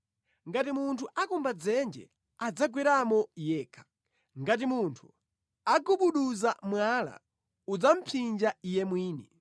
Ngati munthu akumba dzenje, adzagweramo yekha; ngati munthu agubuduza mwala, udzamupsinja iye mwini.